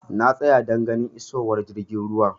Na tsaya don ganin isowar jirgin ruwan.